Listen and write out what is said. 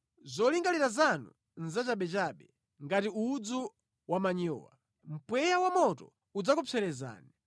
Zolingalira zanu nʼzachabechabe ngati udzu wamanyowa. Mpweya wamoto udzakupserezani.